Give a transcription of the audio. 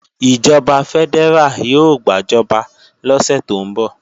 Ìjọba fẹ́dẹ́rà yóò gbàjọba lọ́sẹ̀ tó ń bọ̀